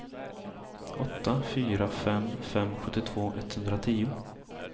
åtta fyra fem fem sjuttiotvå etthundratio